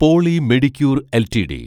poly Medicure LTD